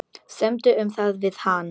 Semdu um það við hann.